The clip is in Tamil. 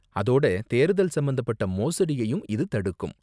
அதோட தேர்தல் சம்பந்தப்பட்ட மோசடியையும் இது தடுக்கும்.